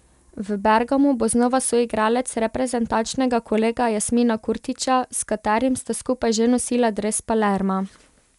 V Bergamu bo znova soigralec reprezentančnega kolega Jasmina Kurtića, s katerim sta skupaj že nosila dres Palerma.